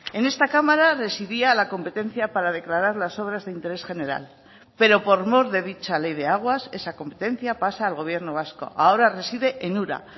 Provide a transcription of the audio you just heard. en esta cámara residía la competencia para declarar las obras de interés general pero por mor de dicha ley de aguas esa competencia pasa al gobierno vasco ahora reside en ura